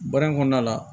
Baara in kɔnɔna la